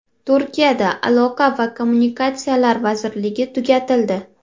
Turkiyada aloqa va kommunikatsiyalar vazirligi tugatildi.